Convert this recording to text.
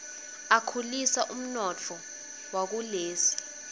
akhulisa umnotfo wakulesi